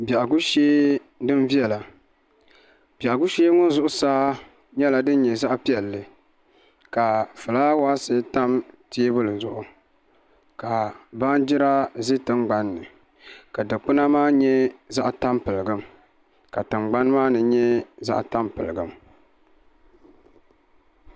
Biɛhagu shee din viɛla biɛhagu shee ŋɔ zuɣusaa nyɛla din nyɛ zaɣ piɛlli ka fulaawaasi tam teebuli zuɣu ka baanjira ʒɛ tingbanni ka dikpuna maa nyɛ zaɣ tampilim ka tingbani maa ni nyɛ zaɣ tampilim